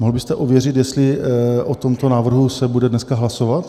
Mohl byste ověřit, jestli o tomto návrhu se bude dneska hlasovat?